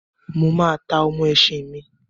Mo máa ta ọ́mọ́ esin mi